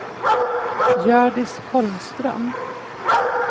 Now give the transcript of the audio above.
Hjördis Holmström